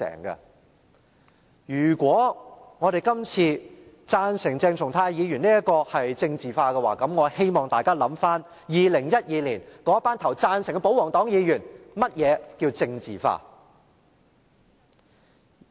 如果我們這次贊成鄭松泰議員的議案是政治化，我希望大家回想2012年投下贊成票的保皇黨議員，想想何謂政治化。